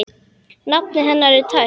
Nafnið hennar er tært.